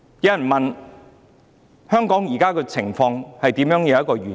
有人問香港現時的情況何時會完結？